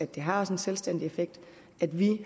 det har en selvstændig effekt at vi